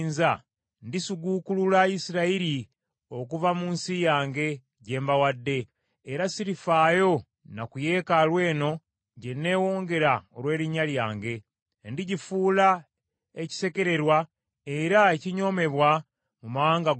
ndisiguukulula Isirayiri okuva mu nsi yange, gye mbawadde, era sirifaayo na ku yeekaalu eno gye neewongera olw’Erinnya lyange. Ndigifuula ekisekererwa era ekinyoomebwa mu mawanga gonna.